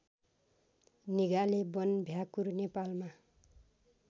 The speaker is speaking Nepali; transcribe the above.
निगाले वनभ्याकुर नेपालमा